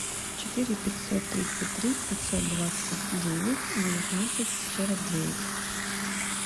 четыре пятьсот тридцать три пятьсот двадцать девять девятнадцать сорок девять